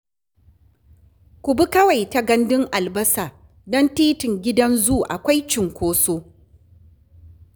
Ku bi kawai ta Gandun albasa, don Titin Gidan Zu, akwai cinkoso